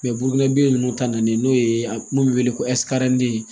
bugurin bi ninnu ta n'o ye a kun be wele ko ɛnsikalite